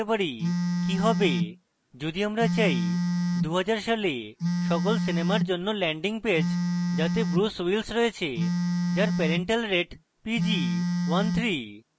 কি হবে যদি আমরা চাই2010 সালে সকল সিনেমা জন্য ল্যান্ডিং পেজ যাতে ব্রুস উইলস রয়েছে যার পেরেন্টাল রেটিং pg 13